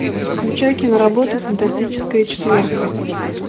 включай киноработу фантастическая четверка